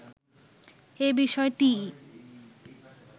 এ বিষয়টিই